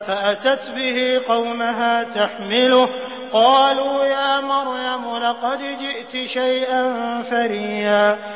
فَأَتَتْ بِهِ قَوْمَهَا تَحْمِلُهُ ۖ قَالُوا يَا مَرْيَمُ لَقَدْ جِئْتِ شَيْئًا فَرِيًّا